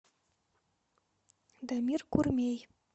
дамир курмей